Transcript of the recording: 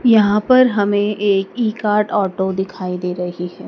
यहां पर हमें एक ई कार्ट ऑटो दिखाई दे रही है।